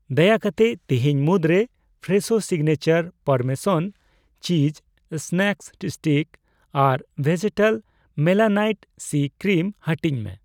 ᱫᱟᱭᱟ ᱠᱟᱛᱮ ᱛᱤᱦᱤᱧ ᱢᱩᱫᱨᱮ Fresho signature parmesan cheese snack sticks ᱟᱨ ᱵᱷᱮᱡᱮᱴᱟᱞ ᱢᱮᱞᱟᱱᱟᱭᱤᱴ ᱥᱤᱼᱠᱨᱤᱢ ᱦᱟᱹᱴᱤᱧ ᱢᱮ ᱾